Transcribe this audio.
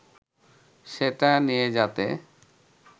সেটা নিয়ে যাতে